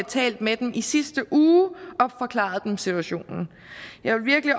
talt med dem i sidste uge og forklaret dem situationen jeg vil virkelig